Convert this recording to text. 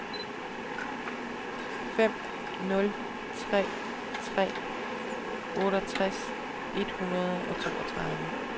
fem nul tre tre otteogtres et hundrede og toogtredive